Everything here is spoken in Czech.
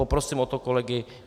Poprosím o to kolegy.